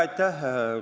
Aitäh!